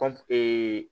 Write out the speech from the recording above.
kɔnfee